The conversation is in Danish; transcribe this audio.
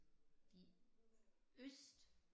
De øst